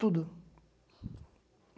Tudo.